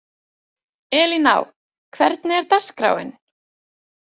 Elíná, hvernig er dagskráin?